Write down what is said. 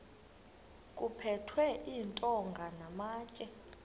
kuphethwe iintonga namatye